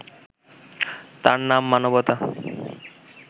তার নাম মানবতা